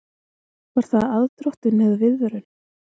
Var það aðdróttun eða viðvörun?